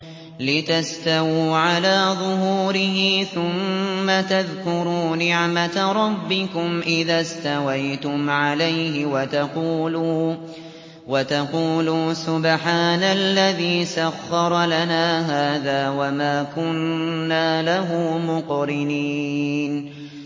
لِتَسْتَوُوا عَلَىٰ ظُهُورِهِ ثُمَّ تَذْكُرُوا نِعْمَةَ رَبِّكُمْ إِذَا اسْتَوَيْتُمْ عَلَيْهِ وَتَقُولُوا سُبْحَانَ الَّذِي سَخَّرَ لَنَا هَٰذَا وَمَا كُنَّا لَهُ مُقْرِنِينَ